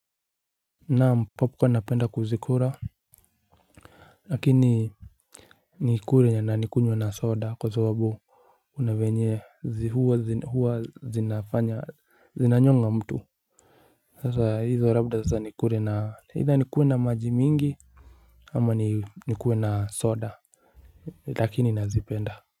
Naam popko napenda kuzikura. Lakini nikure na nikunye na soda kwa sababu unavenye zihuwa zinafanya zinanyonga mtu. Sasa hizo rabda sasa nikure na either nikue na maji mingi ama nikue na soda lakini nazipenda.